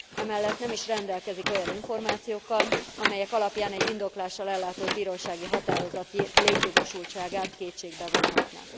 Emellett nem is rendelkezik olyan információkkal, amelyek alapján egy indoklással ellátott bírósági határozat létjogosultságát kétségbe vonhatná.